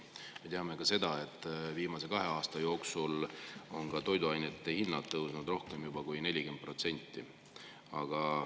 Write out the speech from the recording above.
Me teame ka seda, et viimase kahe aasta jooksul on toiduainete hinnad tõusnud juba rohkem kui 40%.